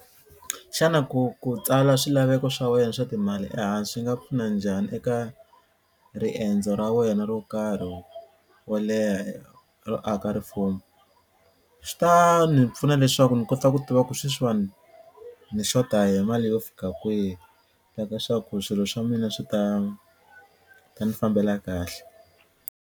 Xana ku ku tsala swilaveko swa wena swa timali ehansi swi nga pfuna njhani eka riendzo ra wena ro karhi wo leha ro aka rifumo? Swi ta ni pfuna leswaku ni kota ku tiva ku sweswiwani ni xota hi mali yo fika kwihi leswaku swilo swa mina swi ta ta ni fambela kahle.